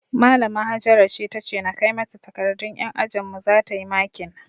Malama Hajara ce tace na kai mata takardun yan ajinmu zata yi makin